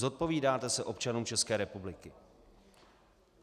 Zodpovídáte se občanům České republiky.